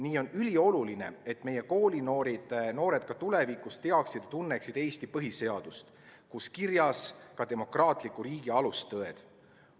Nii on ülioluline, et meie koolinoored ka tulevikus teaksid ja tunneksid Eesti põhiseadust, kus on kirjas ka demokraatliku riigi alustõed.